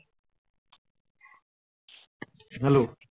hello